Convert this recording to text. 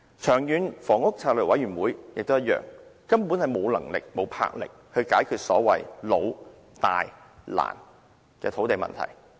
長遠房屋策略督導委員會也一樣，根本無能力、無魄力解決所謂"老、大、難"的土地問題。